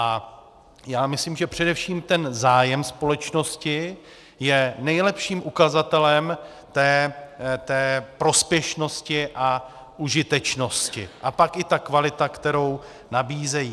A já myslím, že především ten zájem společnosti je nejlepším ukazatelem té prospěšnosti a užitečnosti a pak i ta kvalita, kterou nabízejí.